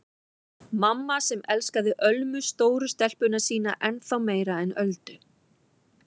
Mamma sem elskaði Ölmu stóru stelpuna sína ennþá meira en Öldu.